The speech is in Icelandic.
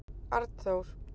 Arnþór